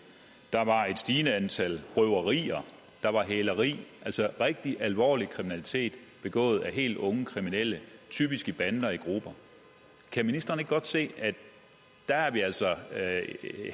der var et stigende antal røverier og der var hæleri altså rigtig alvorlig kriminalitet begået af helt unge kriminelle typisk i bander og i grupper kan ministeren ikke godt se at der er vi altså